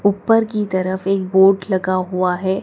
ऊपर की तरफ एक बोर्ड लगा हुआ है।